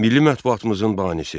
Milli mətbuatımızın banisi.